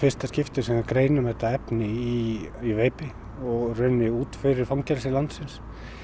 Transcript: fyrsta skipti sem við greinum þetta efni í í veipi og í rauninni út fyrir fangelsi landsins